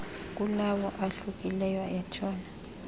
kulawo ahlukileyo entshona